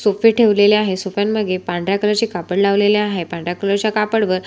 सोफे ठेवलेले आहेत सोफ्यां मागे पांढऱ्या कलर चे कापड लावलेले आहे पांढऱ्या कलर च्या कापड वर--